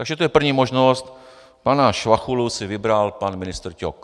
Takže to je první možnost: pana Švachulu si vybral pan ministr Ťok.